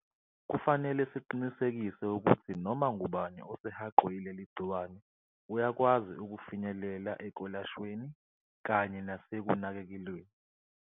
Kufanele siqinisekise ukuthi noma ngubani osehaqwe yileli gciwane uyakwazi ukufinyelela ekwelashweni kanye nasekunakekelweni.